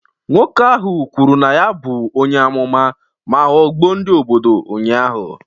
Nwoke ahụ kwuru na ya bụ onye amụma ma ghọgbuo ndị obodo ụnyahụ